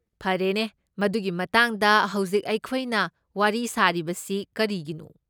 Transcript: ꯐꯔꯦꯅꯦ, ꯃꯗꯨꯒꯤ ꯃꯇꯥꯡꯗ ꯍꯧꯖꯤꯛ ꯑꯩꯈꯣꯏꯅ ꯋꯥꯔꯤ ꯁꯥꯔꯤꯕꯁꯤ ꯀꯔꯤꯒꯤꯅꯣ?